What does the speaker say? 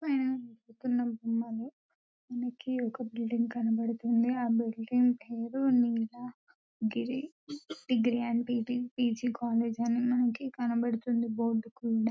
పైన బొమ్మలు కింద ఒక మనకి బిల్డింగ్ కనిపిస్తుంది.ఆ బిల్డింగ్ పేరు నీలగిరి డిగ్రీ అండ్ పీజీ అనే బోర్డు కుడా మనకి కనిపిస్తుంది.